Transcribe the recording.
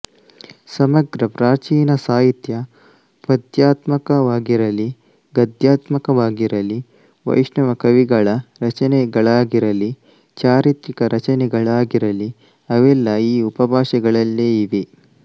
ಸಮಗ್ರ ಪ್ರಾಚೀನ ಸಾಹಿತ್ಯ ಪದ್ಯಾತ್ಮಕವಾಗಿರಲಿ ಗದ್ಯಾತ್ಮಕವಾಗಿರಲಿ ವೈಷ್ಣವ ಕವಿಗಳ ರಚನೆಗಳಾಗಿರಲಿ ಚಾರಿತ್ರಿಕ ರಚನೆಗಳಾಗಿರಲಿ ಅವೆಲ್ಲ ಈ ಉಪಭಾಷೆಯಲ್ಲೇ ಇವೆ